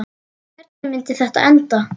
Hvernig myndi þetta enda?